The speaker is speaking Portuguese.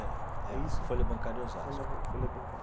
É, é a Folha Bancária em Osasco. Foi na Folha Bancária.